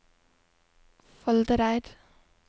Foldereid